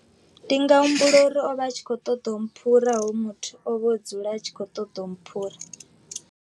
Ndi nga humbula uri o vha a tshi kho ṱoḓa u mphura hoyo muthu o vha o dzula a tshi kho ṱoḓa u mphura.